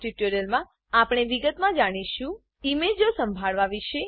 આ ટ્યુટોરીયલમાં આપણે વિગતમાં જાણીશું ઈમેજો સંભાળવા વિશે